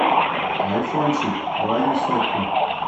айфончик лови сотку